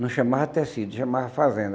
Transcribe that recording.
Não chamava tecido, chamava fazenda.